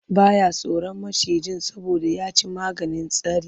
Ba ya tsoron maciji saboda ya ci maganin tsari.